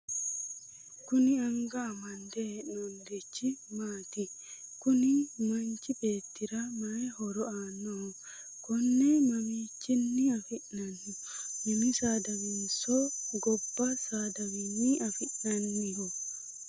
kuni anga amande hee'noonnirichi maati? kuni manchi beeettira mayi horo aannoho? konne mamiichinni afi'nanni? mini nsaadawiinninso gobba saadawiinni afi'nanniho ?